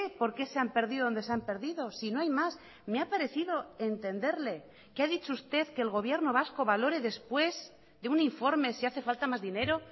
por qué se han perdido donde se han perdido si no hay más me ha parecido entenderle que ha dicho usted que el gobierno vasco valore después de un informe si hace falta más dinero